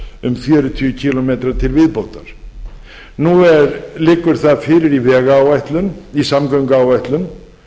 um fjörutíu kílómetra til viðbótar nú liggur það fyrir í vegáætlun í samgönguáætlun